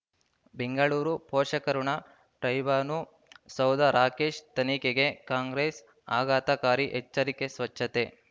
ಬೆಂಗಳೂರು ಪೋಷಕಋಣ ಟೈಬಾನು ಸೌಧ ರಾಕೇಶ್ ತನಿಖೆಗೆ ಕಾಂಗ್ರೆಸ್ ಆಘಾತಕಾರಿ ಎಚ್ಚರಿಕೆ ಸ್ವಚ್ಛತೆ